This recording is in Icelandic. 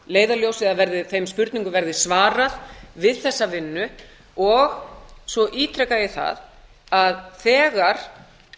leiðarljósi eða þeim spurningum verði svarað við þessa vinnu og svo ítreka ég að þegar